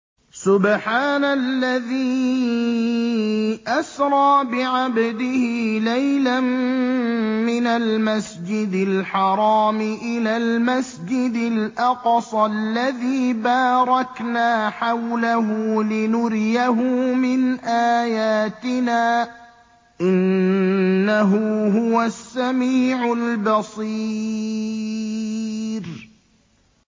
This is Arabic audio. سُبْحَانَ الَّذِي أَسْرَىٰ بِعَبْدِهِ لَيْلًا مِّنَ الْمَسْجِدِ الْحَرَامِ إِلَى الْمَسْجِدِ الْأَقْصَى الَّذِي بَارَكْنَا حَوْلَهُ لِنُرِيَهُ مِنْ آيَاتِنَا ۚ إِنَّهُ هُوَ السَّمِيعُ الْبَصِيرُ